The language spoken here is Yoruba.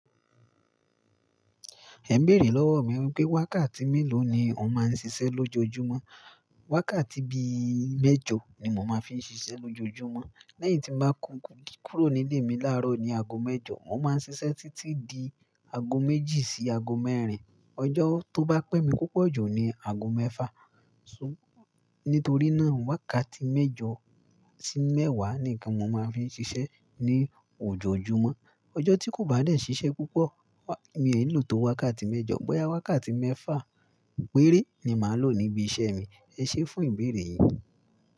Ẹ n béèrè lọ́wọ mi wípé wákàtí mélòó ni o máa ń ṣiṣẹ́ lójoojúmọ́. Wákàtí bíi méjọ ni mo máa ń fi ń ṣiṣẹ́ lójoojúmọ́. Lẹ́yìn tí mo bá kúkú kúrò nílé mi láàárọ̀ ní ago méjọ, mo máa ń ṣiṣẹ́ títí di ago méjì sí ago mẹ́rin. Ọjọ́ tó bá pẹ́ mi púpọ̀ jù ni ago mẹ́fà. Nítorí náà, wákàtí méjọ sí mẹ́wàá ni kan mo máa ń fi ń ṣiṣẹ́ ní ojoojúmọ́. Ọjọ́ tí kò bá dẹ́ ṣiṣẹ́ púpọ̀, mi ò ní lò tó wákàtí méjọ. Bọ́yá wákàtí mẹ́fà péré ni màá lò níbi iṣẹ́ mi. Eṣé fún ìbéèrè yìí.